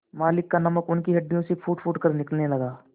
मालिक का नमक उनकी हड्डियों से फूटफूट कर निकलेगा